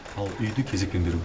ал үйді кезекпен беру